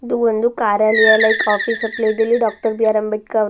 ಇದು ಒಂದು ಕಾರ್ಯಾಲಯ ಲೈಕ್ ಆಫೀಸ್ ಇಲ್ಲಿ ಡಾಕ್ಟರ್ ಬಿ_ಆರ್ ಅಂಬೇಡ್ಕರ್ ಅವರ --